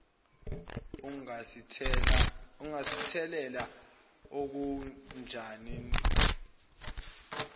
ungasithelela okhanjaneni oluthe